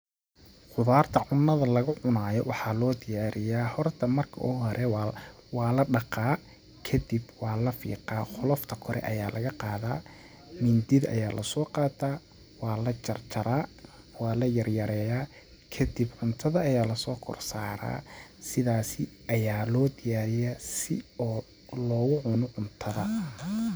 Qudaarta cunnada lagu cunaayo waxaa loo diyaariyaa horta marka u hore waa la dhaqaa kadib waa la fiiqaa ,qolofta kore ayaa laga qadaa ,mindida aya lasoo qataa ,waa la jarjaraa ,waa la yar yareeya ,kadib cuntada ayaa lasoo kor saraa ,sidaasi ayaa loo diyaariyaa si oo loogu cuno cuntada.